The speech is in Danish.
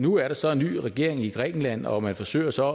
nu er der så en ny regering i grækenland og man forsøger så